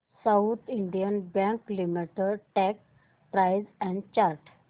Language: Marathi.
south Indian Bank limited stock price and chart